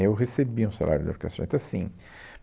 Eu recebia um salário da Orquestra Jovem, então assim